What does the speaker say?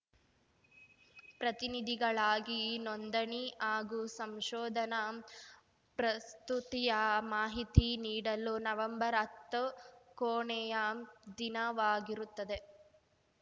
ಪ್ರತಿನಿಧಿಗಳಾಗಿ ನೋಂದಣಿ ಹಾಗೂ ಸಂಶೋಧನಾ ಪ್ರಸ್ತುತಿಯ ಮಾಹಿತಿ ನೀಡಲು ನವಂಬರ್ಹತ್ತು ಕೊನೆಯ ದಿನವಾಗಿರುತ್ತದೆ